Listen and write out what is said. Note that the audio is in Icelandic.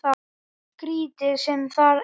Svo skrítið sem það er.